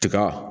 Tiga